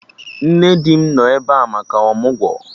Nne di m nọ ebe a maka ọmụgwọ